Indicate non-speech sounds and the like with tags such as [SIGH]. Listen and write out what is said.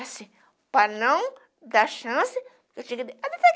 Assim, para não dar chance, eu tinha que [UNINTELLIGIBLE]